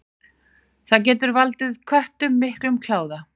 Það getur valdið köttum miklum kláða.